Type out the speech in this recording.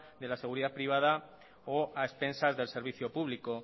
de la seguridad privada o a expensas del servicio público